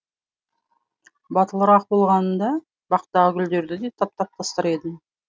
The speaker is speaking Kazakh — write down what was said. батылырақ болғанымда бақтағы гүлдерді де таптап тастар едім